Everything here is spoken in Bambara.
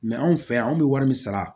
anw fɛ yan anw bɛ wari min sara